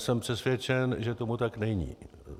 Jsem přesvědčen, že tomu tak není.